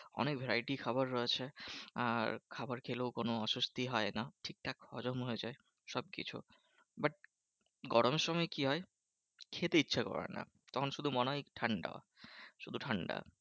অনেক variety খাবার আছে। আর খাবার খেলেও কোনো অসস্থি হয় না। ঠিকঠাক হজম হয়ে যায় সবকিছু। but গরমের সময় কি হয়? খেতে ইচ্ছা করে না। তখন শুধু মনে হয় ঠান্ডা শুধু ঠান্ডা।